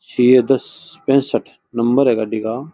CS दस पेसट number है गाड़ी का।